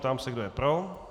Ptám se, kdo je pro.